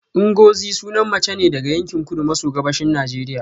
Ngozi sunan mace ne daga yankin kudu maso gabashin Najeriya